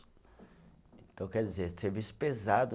Então, quer dizer, serviço pesado.